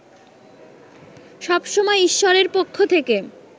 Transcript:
সব সময় ঈশ্বরের পক্ষ থেকে